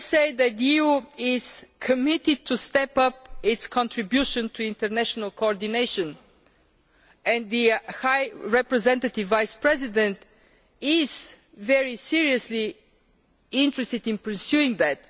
The EU is committed to stepping up its contribution to international coordination and the High Representative Vice President is very seriously interested in pursuing that.